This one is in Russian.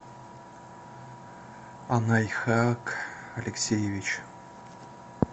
анайхак алексеевич